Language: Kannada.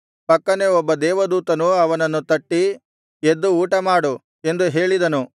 ಪಕ್ಕನೆ ಒಬ್ಬ ದೇವದೂತನು ಅವನನ್ನು ತಟ್ಟಿ ಎದ್ದು ಊಟ ಮಾಡು ಎಂದು ಹೇಳಿದನು